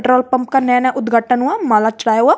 Petrol pump का नया नया उद्घाटन हुआ माला चढ़ाया हुआ।